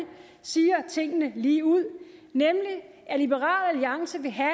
siger tingene ligeud nemlig at liberal alliance vil have